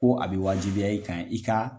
Ko a bɛ waajibiya i kan i ka